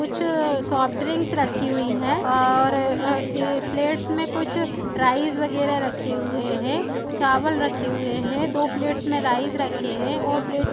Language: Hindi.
कुछ सॉफ्ट ड्रिंक्स रखी हुई है और अ ए प्लेट में कुछ राइस वगैरा रखे हुए हैचावल रखे हुए है दो प्लेट्स में राइस रखे हैऔर प्लेट्स --